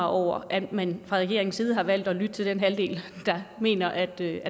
over at man fra regeringens side har valgt at lytte til den halvdel der mener at der